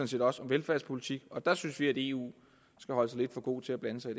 set også om velfærdspolitik der synes vi at eu skal holde sig for god til at blande sig